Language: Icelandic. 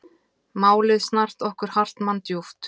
Málið snart okkur Hartmann djúpt.